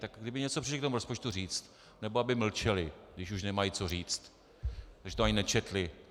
Tak kdyby něco přišli k tomu rozpočtu říct, nebo aby mlčeli, když už nemají co říct, protože to ani nečetli.